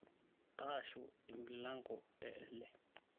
taasho emilango ee ele